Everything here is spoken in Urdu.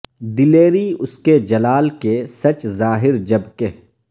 دلیری اس کے جلال کے سچ ظاہر جب کہ